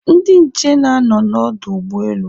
Ndị nche na-anọ n'ọdụ ụgbọelu